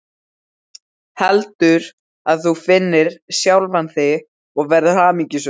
Heldur að þú finnir sjálfan þig og verðir hamingjusöm.